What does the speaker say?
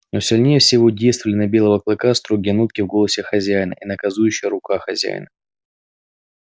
но сильнее всего действовали на белого клыка строгие нотки в голосе хозяина и наказующая рука хозяина